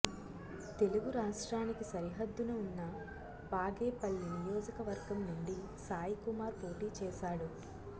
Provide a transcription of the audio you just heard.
తెలుగు రాష్ట్రానికి సరిహద్దున ఉన్న బాగేపల్లి నియోజక వర్గం నుండి సాయి కుమార్ పోటీ చేశాడు